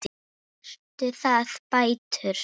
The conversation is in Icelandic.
Eru það bætur?